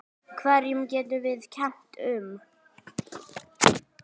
Hverjum getum við kennt um?